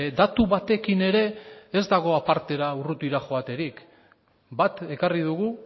datu batekin ere ez dago apartera urrutira joaterik bat ekarri dugu